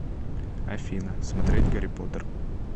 афина смотреть гарри поттер